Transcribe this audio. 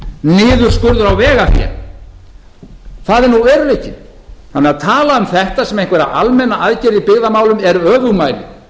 niðurskurður á vegafé það er nú veruleikinn að tala því um þetta sem einhverja almenna aðgerð í byggðamálum er öfugmæli